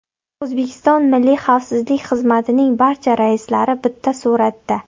O‘zbekiston Milliy xavfsizlik xizmatining barcha raislari bitta suratda.